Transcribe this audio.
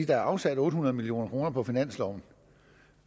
der er afsat otte hundrede million kroner på finansloven